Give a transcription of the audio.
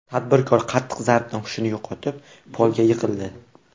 Tadbirkor qattiq zarbdan hushini yo‘qotib, polga yiqildi.